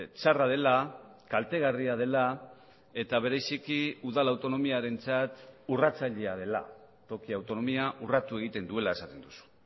txarra dela kaltegarria dela eta bereziki udal autonomiarentzat urratzailea dela toki autonomia urratu egiten duela esaten duzu